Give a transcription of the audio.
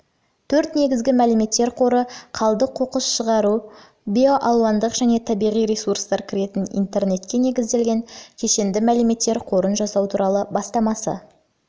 төрт негізгі мәліметтер қоры қалдық қоқыс шығыс биоалуандылық және табиғи ресурстар кіретін интернетке негізделген кешенді мәліметтер қорын жасау туралы бастамасын